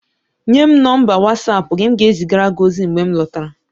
Nye m nọmba Watsapụ gị, m ga-ezigara gị ozi mgbe m lọtara